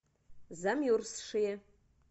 замерзшие